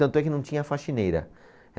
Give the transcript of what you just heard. Tanto é que não tinha faxineira.